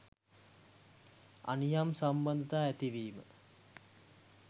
අනියම් සබඳතා ඇතිවීම